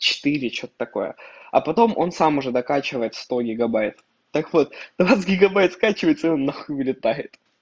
четыре что-то такое а потом он сам уже докачивает сто гигабайт так вот у нас гигабайт скачивается он нахуй вылетает